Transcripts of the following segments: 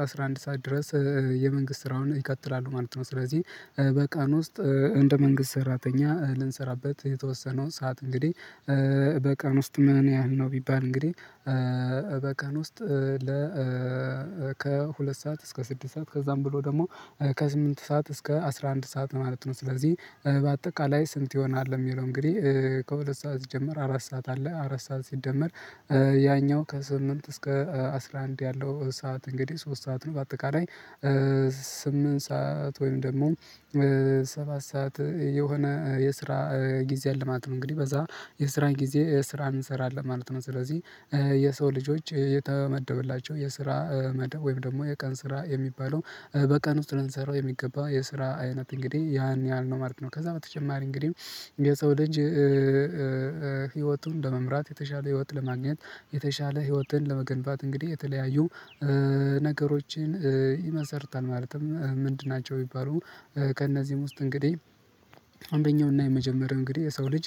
አስራ አንድ ሰዓት ድረስ የመንግስት ስራውን ይቀጥላሉ ማለት ነው። ስለዚህ በቃን ውስጥ እንደ መንግስት ሰራተኛ ልንሰራበት የተወሰነው ሰዓት እንግዲህ በቀን ውስጥ ምን ያህል ነው ቢባል እንግዲህ በቀን ውስጥ ለ ከሁለት ሰዓት እስከ ስድስት ሰዓት ከዛም ብሎ ደግሞ ከስምንት ሰዓት እስከ አስራ አንድ ሰዓት ማለት ነው። ስለዚህ በአጠቃላይ ስንት ይሆናል የሚለው እንግዲህ ከሁለት ሰዓት ሲጀመር አራት ሰዓት አለ አራት ሰዓት ሲደመር ያኛው ከስምንት እስከ አስራ አንድ ያለው ሰዓት እንግዲህ ሶስት ሰዓት ነው በአጠቃላይ ስምንት ሰዓት ወይም ደግሞ ሰባት ሰዓት የሆነ የስራ ጊዜ አለ ማለት ነው። እንግዲህ በዛ የስራ ጊዜ ስራን እንሰራለን ማለት ነው ስለዚህ የሰው ልጆች የተመደበላቸው የስራ መደብ ወይም ደግሞ የቀን ስራ የሚባለው በቀን ውስጥ ልንሰራው የሚገባ የስራ አይነት እንግዲህ ያን ያህል ነው ማለት ነው። ከዛ በተጨማሪ እንግዲህ የሰው ልጅ ህይወቱን ለመምራት የተሻለ ህይወት ለማግኘት የተሻለ ህይወትን ለመገንባት እንግዲህ የተለያዩ ነገሮችን ይመሰርታል ማለትም ምንድን ናቸው? የሚባሉ ከእነዚህም ውስጥ እንግዲህ አንደኛውና የመጀመሪያው እንግዲህ የሰው ልጅ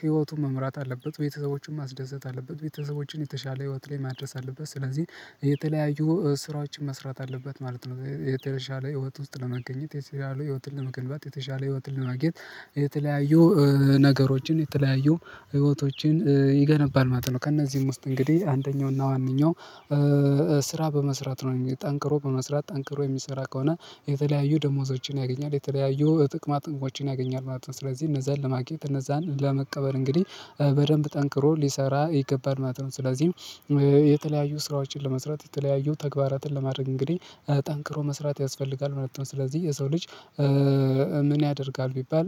ህይወቱን መምራት አለበት። ቤተሰቦቹን ማስደሰት አለበት ቤተሰቦችን የተሻለ ህይወት ላይ ማድረስ አለበት ስለዚህ የተለያዩ ስራዎችን መስራት አለበት ማለት ነው። የተሻለ ህይወት ውስጥ ለመገኘት የተሻለ ህይወትን ለመገንባት የተሻለ ህይወትን ለማግኘት የተለያዩ ነገሮችን የተለያዩ ህይወቶችን ይገነባል ማለት ነው። ከእነዚህም ውስጥ እንግዲህ አንደኛውና ዋነኛው ስራ በመስራት ነው ጠንክሮ በመስራት ጠንክሮ የሚሰራ ከሆነ የተለያዩ ደሞዞችን ያገኛል የተለያዩ ጥቅማ ጥቅሞችን ያገኛል ማለት ነው። ስለዚህ እነዛን ለማግኘት እነዛን ለመቀበል እንግዲህ በደንብ ጠንክሮ ሊሰራ ይገባል ማለት ነው። ስለዚህ የተለያዩ ስራዎችን ለመስራት የተለያዩ ተግባራትን ለማድረግ እንግዲህ ጠንክሮ መስራት ያስፈልጋል ማለት ነው። ስለዚህ የሰው ልጅ ምን ያደርጋል ቢባል?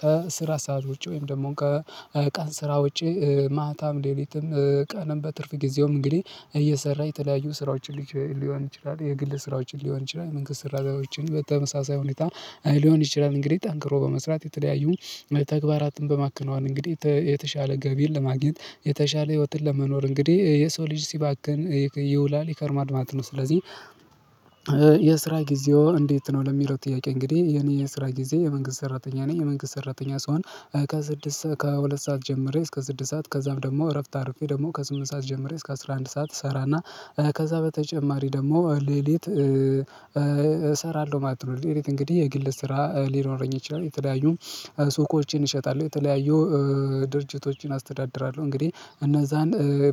ከስራ ሰዓት ውጪ ወይም ደግሞ ከቃን ስራ ውጪ ማታም ሌሊትም ቀንም በትርፍ ጊዜውም እንግዲህ እየሰራ የተለያዩ ስራዎችን ሊሆን ይችላል የግል ስራዎችን ሊሆን ይችላል መንገድ ስራዎችን በተመሳሳይ ሁኔታ ሊሆን ይችላል እንግዲህ ጠንክሮ በመስራት የተለያዩ ተግባራትን በማከናዋን እንግዲህ የተሻለ ገቢን ለማግኘት የተሻለ ህይወትን ለመኖር እንግዲህ የሰው ልጅ ሲባክን ይውላል የከርማል ማለት ነው። ስለዚህ የስራ ጊዜው እንዴት ነው? ለሚለው ጥያቄ እንግዲህ የኔ የስራ ጊዜ የመንግስት ሰራተኛ ነኝ የመንግስት ሰራተኛ ስሆን ከሁለት ሰዓት ጀምሬ እስከ ስድስት ሰዓት ከዛም ደግሞ እረፍት አርፌ ደግሞ ከስምንት ሰዓት ጀምሬ እስከ አስራ አንድ ሰዓት እሰራና ከዛ በተጨማሪ ደግሞ ሌሊት እሰራለሁ ማለት ነው። እንግዲህ የግል ስራ ሊኖረኝ ይችላል የተዳዩ ሱቆችን እሸጣለሁ የተለያዩ ድርጅቶችን አስተዳድራለሁ እንግዲህ እነዛን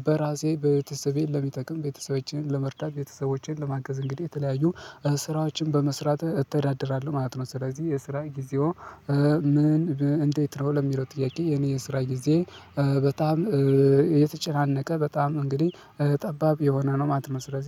በራሴ በቤተሰቤ ለሚጠቅም ቤተሰቦቼን ለመርዳት ቤተሰቦቼን ለማገዝ እንግዲህ የተለያዩ ስራዎችን በመስራት እተዳደራለሁ ማለት ነው። ስለዚህ የስራ ጊዜው ምን እንዴት ነው ለሚለው ጥያቄ የኔ የስራ ጊዜ በጣም የተጨናነቀ በጣም እንግዲህ ጠባብ የሆነ ነው ማለት ነው። ስለዚህ